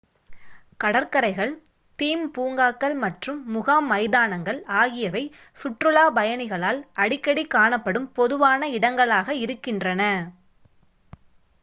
கடற்கரைகள் தீம் பூங்காக்கள் மற்றும் முகாம் மைதானங்கள் ஆகியவை சுற்றுலாப் பயணிகளால் அடிக்கடி காணப்படும் பொதுவான இடங்களாக இருக்கின்றன